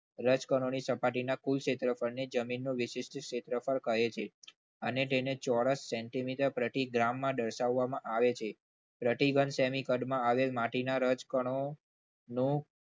રજકણોની સપાટીના કુલ ક્ષેત્રફળ પર ને જમીનનું કુલ વિશિષ્ટ ક્ષેત્રફળ કહે છે અને તેને ચોરસ centimeter પ્રતિ gram માં દર્શાવવામાં આવે છે પ્રતિ ઘન સેમી કદમાં આવેલ માટી ના રજકણો નો